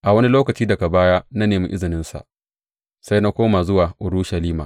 A wani lokaci daga baya na nemi izininsa sai na koma zuwa Urushalima.